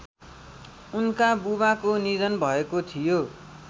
उनका बुबाको निधन भएको थियो